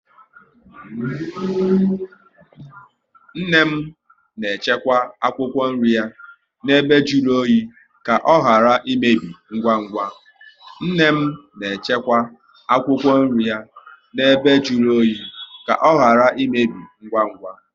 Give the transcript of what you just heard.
Nne m na echekwa akwụkwọ nri ya na ebe jụrụ oyi ka ọ ghara imebi ngwa ngwa